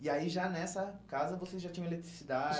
E aí já nessa casa você já tinha